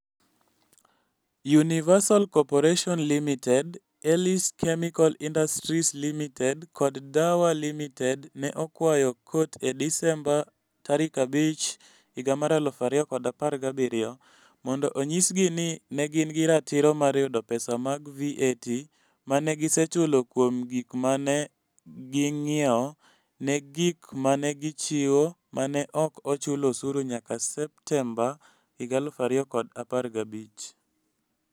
Universal Corporation Ltd, Elys Chemical Industries Ltd kod Dawa Ltd ne okwayo kot e Desemba 5, 2017, mondo onyisgi ni ne gin gi ratiro mar yudo pesa mag VAT, ma ne gisechulo kuom gik ma ne ging'iewo ne gik ma ne gichiwo ma ne ok ochul osuru nyaka Septemba 2015.